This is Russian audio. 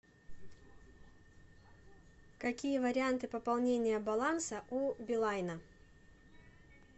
какие варианты пополнения баланса у билайна